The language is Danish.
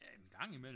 Ja gang imellem